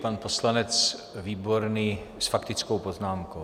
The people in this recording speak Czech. Pan poslanec Výborný s faktickou poznámkou.